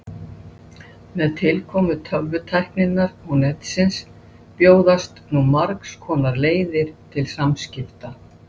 Beyging heitisins er síðan sýnd í eintölu og fleirtölu.